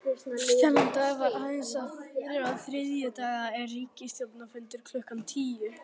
Þennan dag eins og aðra þriðjudaga er ríkisstjórnarfundur klukkan tíu.